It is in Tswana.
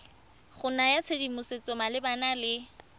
go naya tshedimosetso malebana le